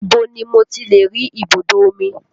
Ibo ni mo tilè rí ibùdó omi?